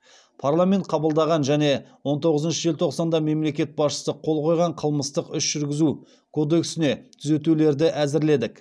парламент қабылдаған және он тоғызыншы желтоқсанда мемлекет басшысы қол қойған қылмыстық іс жүргізу кодексіне түзетулерді әзірледік